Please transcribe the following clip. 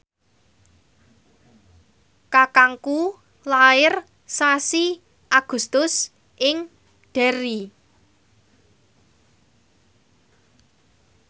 kakangku lair sasi Agustus ing Derry